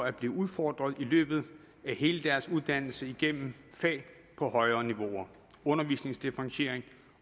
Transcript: at blive udfordret i løbet af hele deres uddannelse igennem fag på højere niveauer undervisningsdifferentiering